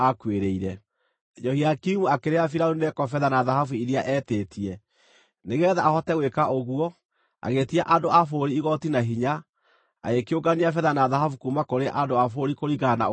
Jehoiakimu akĩrĩha Firaũni Neko betha na thahabu iria eetĩtie. Nĩgeetha ahote gwĩka ũguo, agĩĩtia andũ a bũrũri igooti na hinya, agĩkĩũngania betha na thahabu kuuma kũrĩ andũ a bũrũri kũringana na ũhoti wao.